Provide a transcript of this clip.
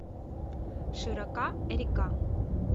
широка река